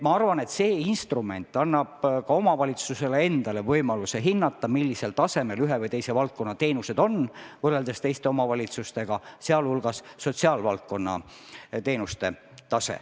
Ma arvan, et see instrument annab ka omavalitsusele endale võimaluse hinnata, millisel tasemel ühe või teise valdkonna teenused on võrreldes teiste omavalitsustega, sh sotsiaalvaldkonna teenused.